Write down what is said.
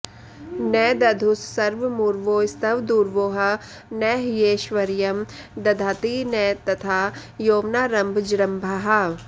न दधुस्सर्वमुर्वोस्त्वदूर्वोः न ह्यैश्वर्यं दधति न तथा यौवनारम्भजृम्भाः